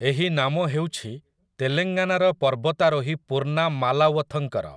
ଏହି ନାମ ହେଉଛି ତେଲେଙ୍ଗାନାର ପର୍ବତାରୋହୀ ପୂର୍ଣ୍ଣା ମାଲାୱଥଙ୍କର ।